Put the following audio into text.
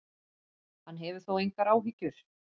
Hann hefur þó engar áhyggjur.